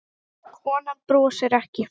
Konan brosir ekki.